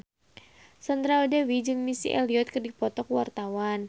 Sandra Dewi jeung Missy Elliott keur dipoto ku wartawan